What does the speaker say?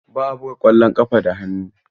Ba a buga ƙwallon ƙafa da hannu.